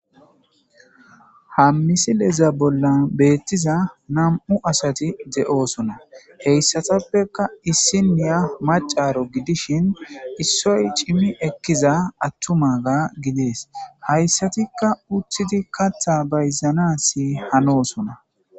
Hammisileza bolla beettiza nam'u asati de'oosona heyssatappeka issinniya macaro gidishin issoy cimi ekkiza attumaga gidees hayssatikka uthidi katha bayzana si hanosona.